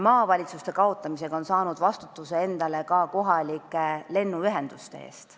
Maavalitsuste kaotamisega on ta saanud endale vastutuse kohalike lennuühenduste eest.